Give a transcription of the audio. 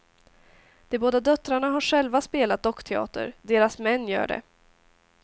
De båda döttrarna har själva spelat dockteater, deras män gör det.